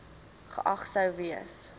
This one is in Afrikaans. geag sou gewees